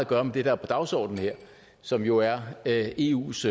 gøre med det der er på dagsordenen her som jo er er eus